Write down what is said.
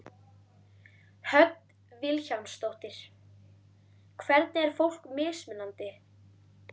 Hödd Vilhjálmsdóttir: Hvernig er fólk mismunandi?